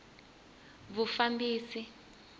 vufambisi